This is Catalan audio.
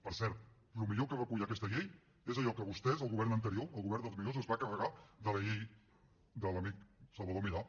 per cert el millor que recull aquesta llei és allò que vostès el govern anterior el govern dels millors es va carregar de la llei de l’amic salvador milà